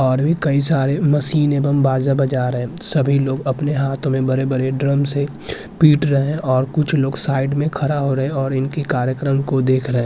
और भी कई सारे मशीने बम-बाजा बजा रहे सभी लोग अपने हाथों में बडे-बडे ड्रम से पीट रहे और कुछ लोग साइड में खड़ा हो रहे और इनके कार्यक्रम को देख रहे।